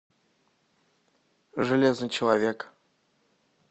железный человек